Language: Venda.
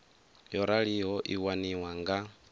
yo raliho i waniwa nga